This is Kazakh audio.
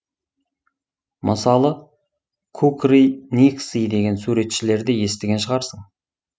мысалы ку кры никсы деген суретшілерді естіген шығарсың